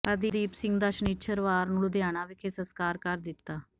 ਹਰਦੀਪ ਸਿੰਘ ਦਾ ਸ਼ਨਿੱਚਰਵਾਰ ਨੂੰ ਲੁਧਿਆਣਾ ਵਿਖੇ ਸਸਕਾਰ ਕਰ ਦਿੱਤਾ